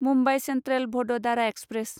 Mumbai Central Vadodara express